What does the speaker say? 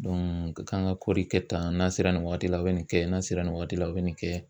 k'an ka kɔɔri kɛ tan n'a sera nin waati la u bɛ nin kɛ n'a sera nin waati la u bɛ nin kɛ